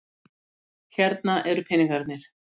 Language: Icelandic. Hérna eru peningarnir.